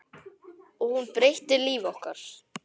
Og hún breytti lífi okkar.